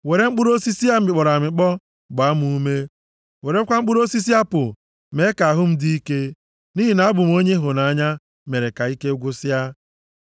Were mkpụrụ osisi a mịkpọrọ amịkpọ gbaa m ume; werekwa mkpụrụ osisi apụl mee ka ahụ m dị ike, nʼihi na abụ m onye ịhụnanya mere ka ike gwụsịa.